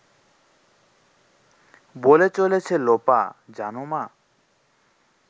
বলে চলেছে লোপা… জানো মা